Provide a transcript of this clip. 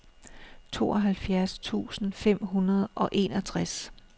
tooghalvfjerds tusind fem hundrede og enogtres